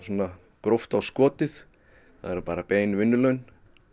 gróft á skotið það eru bara bein vinnulaun